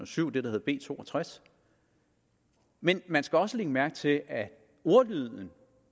syv det der hed b to og tres men man skal også lægge mærke til at ordlyden